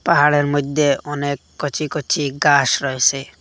পাহাড়ের মইদ্যে অনেক কচি কচি গাস রয়েসে।